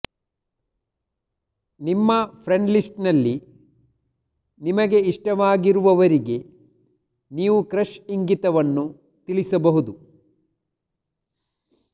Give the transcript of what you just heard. ನಿಮ್ಮ ಫ್ರೆಂಡ್ಲಿಸ್ಟ್ನಲ್ಲಿ ನಿಮಗೆ ಇಷ್ಟವಾಗಿರುವವರಿಗೆ ನೀವು ಕ್ರಶ್ ಇಂಗಿತವನ್ನು ತಿಳಿಸಬಹುದು